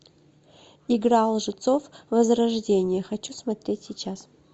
игра лжецов возрождение хочу смотреть сейчас